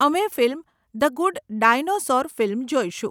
અમે film 'the good dinosaur' film જોઈશું.